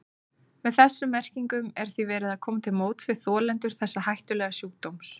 Með þessum merkingum er því verið að koma til móts við þolendur þessa hættulega sjúkdóms.